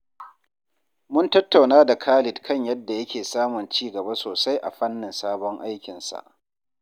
Mun tattauna da Khalid kan yadda yake samun ci gaba sosai a fannin sabon aikinsa.